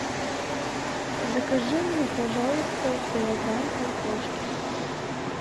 закажи мне пожалуйста килограмм картошки